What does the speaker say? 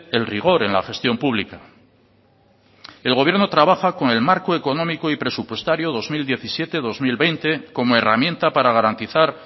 el rigor en la gestión pública el gobierno trabaja con el marco económico y presupuestario dos mil diecisiete dos mil veinte como herramienta para garantizar